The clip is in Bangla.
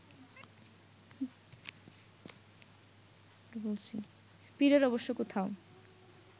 পীরের অবশ্য কোথাও